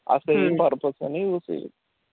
same purpose